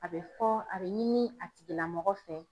A bɛ fɔ a bɛ ɲini a tigilamɔgɔ fɛ.